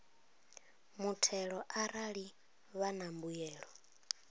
muthelo arali vha na mbuyelo